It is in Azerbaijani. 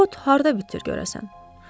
Bu ot harda bitir görəsən?